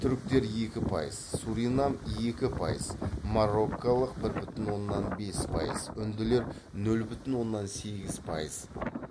түріктер екі пайыз суринам екі пайыз мороккалық бір бүтін оннан бес пайыз үнділер нөл бүтін оннан сегіз пайыз